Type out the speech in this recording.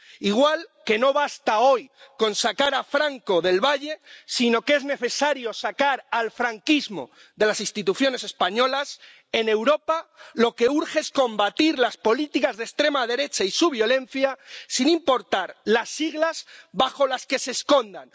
Igual que no basta hoy con sacar a Franco del Valle de los Caídos, sino que es necesario sacar al franquismo de las instituciones españolas, en Europa lo que urge es combatir las políticas de extrema derecha y su violencia sin importar las siglas bajo las que se escondan.